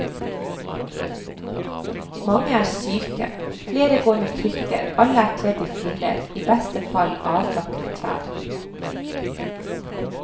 Mange er syke, flere går med krykker, alle er kledd i filler, i beste fall avlagte klær.